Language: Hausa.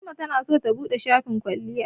Fatima tana so ta buɗe shafin kwalliya.